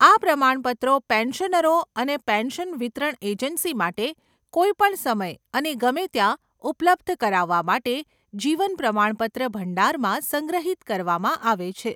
આ પ્રમાણપત્રો પેન્શનરો અને પેન્શન વિતરણ એજન્સી માટે કોઈપણ સમયે અને ગમે ત્યાં ઉપલબ્ધ કરાવવા માટે જીવન પ્રમાણપત્ર ભંડારમાં સંગ્રહિત કરવામાં આવે છે.